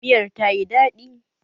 Miyar ta yi daɗi